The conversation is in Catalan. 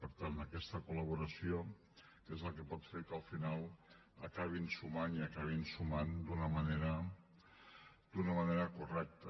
per tant aquesta col·laboració és la que pot fer que al final acabin sumant i acabin sumant d’una manera correcta